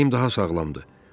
Mənim ürəyim daha sağlamdır.